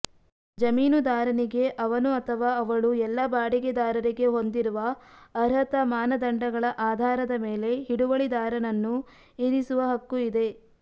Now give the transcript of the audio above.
ಜಮೀನುದಾರನಿಗೆ ಅವನು ಅಥವಾ ಅವಳು ಎಲ್ಲಾ ಬಾಡಿಗೆದಾರರಿಗೆ ಹೊಂದಿರುವ ಅರ್ಹತಾ ಮಾನದಂಡಗಳ ಆಧಾರದ ಮೇಲೆ ಹಿಡುವಳಿದಾರನನ್ನು ಇರಿಸುವ ಹಕ್ಕು ಇದೆ